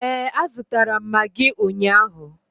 Ee, a zụtara m magị ụnyaahụ.